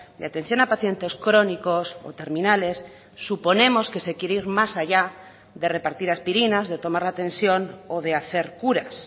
de atención a pacientes crónicos o terminales suponemos que se quiere ir más allá de repartir aspirinas de tomar la tensión o de hacer curas